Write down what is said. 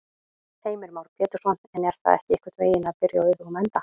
Heimir Már Pétursson: En er það ekki einhvern veginn að byrja á öfugum enda?